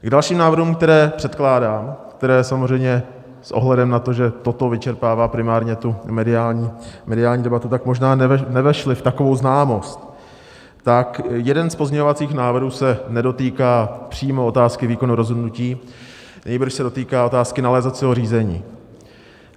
K dalším návrhům, které předkládám, které samozřejmě s ohledem na to, že toto vyčerpává primárně tu mediální debatu, tak možná nevešly v takovou známost, tak jeden z pozměňovacích návrhů se nedotýká přímo otázky výkonu rozhodnutí, nýbrž se dotýká otázky nalézacího řízení.